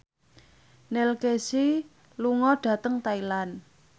Neil Casey lunga dhateng Thailand